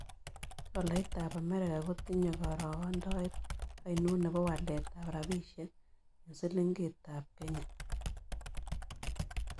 Tolaitap amerika kotinye karogendoet ainon ne po waletap rabisyek eng'silingiitap kenya